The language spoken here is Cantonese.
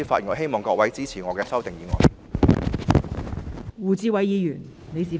我希望各位支持我提出的修正案。